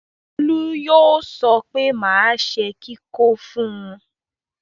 Bólú yóò sọ pé máa ṣe kíkó fún un.